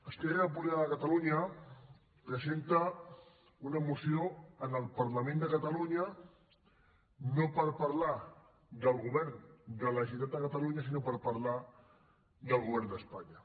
esquerra republicana de catalunya presenta una moció en el parlament de catalunya no per parlar del govern de la generalitat de catalunya sinó per parlar del govern d’espanya